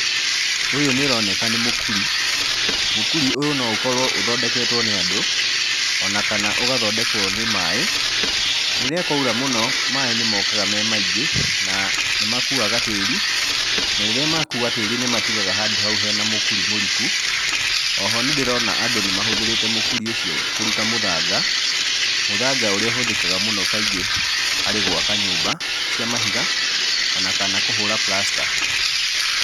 Ũyũ ũroneka nĩ mũkuri mũkuri ũyũ no ũkorwo ũthondeketwo nĩ andũ ona kana ũgathondekwo nĩ maaĩ. Rĩrĩa kwaura mũno maaĩ nĩmokaga me maingĩ na nĩmakuaga tĩri na rĩrĩa makua tĩri nĩmatigaga handũ hau hena mũkũri mũriku. Oho nĩndĩrona andũ nĩmahũthĩrĩte mũkuri ũcio kũruta mũthanga, mũthanga ũrĩa ũhũthĩkaga mũno kaingĩ harĩ gwaka nyũmba cia mahiga ona kana kũhũra prasta.